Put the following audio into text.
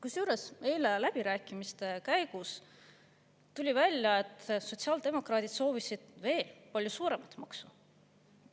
Kusjuures, eile tuli läbirääkimiste käigus välja, et sotsiaaldemokraadid soovisid veel palju suuremat maksu.